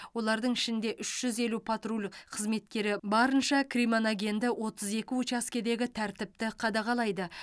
олардың ішінде үш жүз елу патруль қызметкері барынша кримоногенді отыз екі учаскедегі тәртіпті қадағалайды